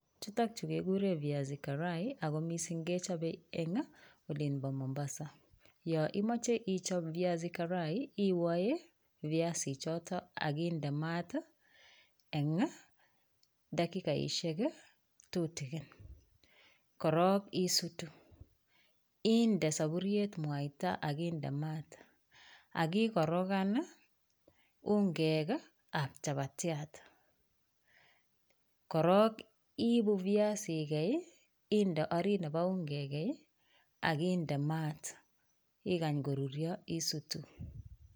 Chutok chu kekuren viazi karai ako missing kechope en olimpo Mombasa yoimoche ichop viazi karai iwoe viazichoto akindee mat eng dakikaisiek tutikin korok isutu inde saburiet mwaita akinde mat akikorokan ungek ap chapatiat korok ibu viazi ikei inde orit nepo ungek akinde mat ikany korurio isutu.